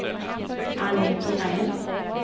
Annie Thorén